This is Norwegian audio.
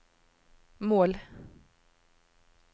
mål